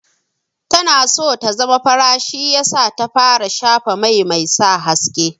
Tana so ta zama fara shi yasa za ta fara shafa mai mai sa haske.